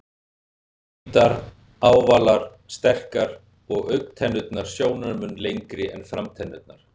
Hvítar, ávalar, sterkar og augntennurnar sjónarmun lengri en framtennurnar.